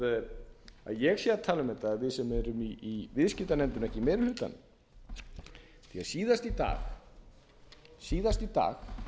að ég sé að tala um þetta eða við sem erum í viðskiptanefndinni og ekki í meiri hlutanum því að síðast í dag fyrir